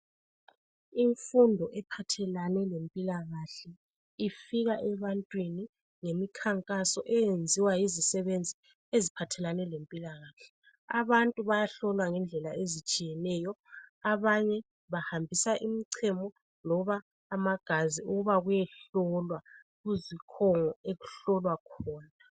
Imfundo ephathelane lempilakahle ifika ebantwini ngemikhankaso eyenziwa yizisebenzi eziphathelane lempilakahle abantu bayahlolwa ngendlela ezitshiyeneyo abanye bahambisa imchemo loba amagazi ukuba kuyehlolwa okuhlolwa khona